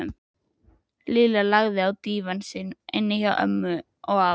Lilla lagðist á dívaninn sinn inni hjá ömmu og afa.